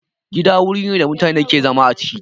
Gida wuri ne da mutane ke zama a ciki